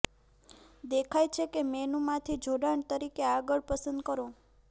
દેખાય છે તે મેનુમાંથી જોડાણ તરીકે આગળ પસંદ કરો